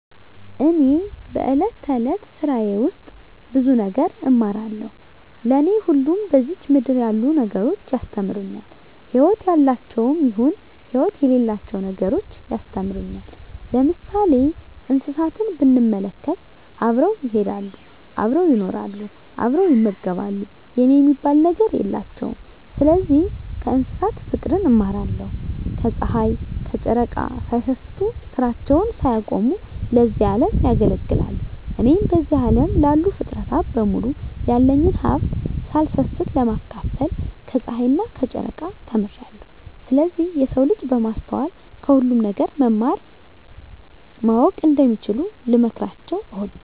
እኔ በእለት እለት ስራየ ውስጥ ብዙ ነገር እማራለሁ። ለኔ ሁሉም በዝች ምድር ያሉ ነገሮች ያስተምሩኛል ህይወት ያላቸውም ይሁን ህይወት የሌላቸው ነገሮች ያስተምሩኛል። ለምሳሌ እንስሳትን ብንመለከት አብረው ይሄዳሉ አብረው ይኖራሉ አብረው ይመገባሉ የኔ የሚባል ነገር የላቸውም ስለዚህ ከእንስሳት ፉቅርን እማራለሁ። ከጽሀይ ከጨረቃ ሳይሰስቱ ስራቸውን ሳያቆሙ ለዚህ አለም ያገለግላሉ። እኔም በዚህ አለም ላሉ ፉጥረታት በሙሉ ያለኝን ሀብት ሳልሰስት ለማካፈል ከጸሀይና ከጨረቃ ተምሬአለሁ። ስለዚህ የሰው ልጅ በማስተዋል ከሁሉም ነገር መማር ማወቅ እንደሚችሉ ልመክራቸው እወዳለሁ።